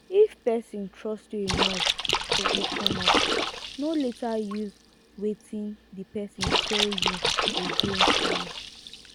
if person trust you enough to open up no later use wetin di person tell you against am